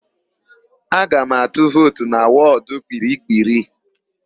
Aga m atụ vootu na wọdụ Kpiri-kpiri.